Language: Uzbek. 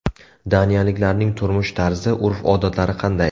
Daniyaliklarning turmush tarzi, urf-odatlari qanday?